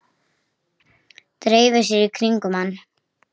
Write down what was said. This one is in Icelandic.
Dreifi sér í kringum hann.